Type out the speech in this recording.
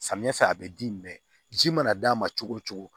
Samiya fɛ a bɛ di mɛ ji mana d'a ma cogo o cogo